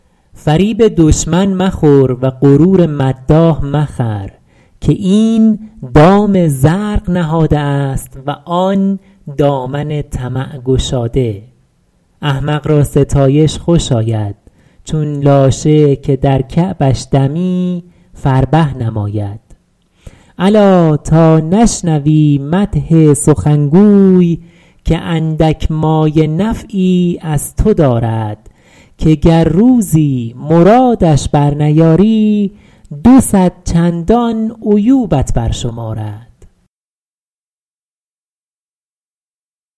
فریب دشمن مخور و غرور مداح مخر که این دام زرق نهاده است و آن دامن طمع گشاده احمق را ستایش خوش آید چون لاشه که در کعبش دمی فربه نماید الا تا نشنوی مدح سخنگوی که اندک مایه نفعی از تو دارد که گر روزی مرادش بر نیاری دو صد چندان عیوبت بر شمارد